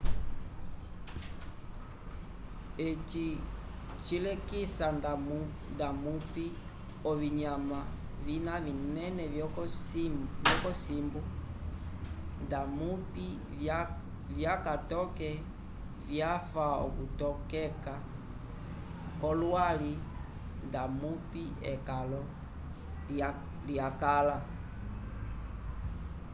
eci cilekisa ndamupi ovinyanma vina vinene vyokosimbo ndamupi vyaka toke vyafa lokutokota kwolwali ndamupi ekalo lyakala